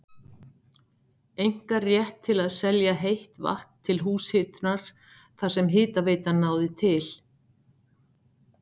einkarétt til að selja heitt vatn til húshitunar þar sem hitaveitan náði til.